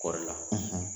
Kɔɔri la